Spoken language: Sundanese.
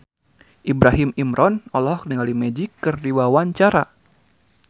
Ibrahim Imran olohok ningali Magic keur diwawancara